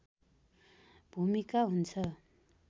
भूमिका हुन्छ